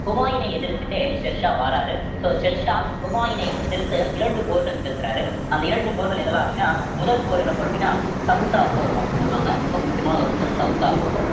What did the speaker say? ஹுமாயூனை எதிர்த்துட்டே ஷெர்ஷா வாராரு so ஷெர்ஷா ஹுமாயூனை எதிர்த்து இரண்டு போர்கள் நிகழ்த்துறாரு அந்த இரண்டு போர்கள் என்னலாம் அப்படின்னா முதல் போர் என்ன போர் அப்படின்னா சௌசா போர் அப்படின்னு சொல்லுவாங்க ரொம்ப முக்கியமான ஒரு போர் சௌசா போர்